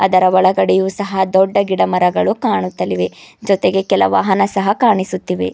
ಇದರ ಒಳಗಡೆಯು ಸಹ ದೊಡ್ಡ ಗಿಡ ಮರಗಳು ಕಾಣುತ್ತಲಿವೆ ಜೊತೆಗೆ ಕೆಲ ವಾಹನ ಸಹ ಕಾಣಿಸುತ್ತಿವೆ.